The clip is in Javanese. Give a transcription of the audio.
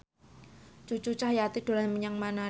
Cucu Cahyati dolan menyang Manado